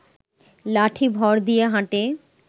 লাঠি ভর দিয়ে হাঁটে